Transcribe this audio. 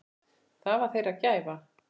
Það var þeirra gæfa.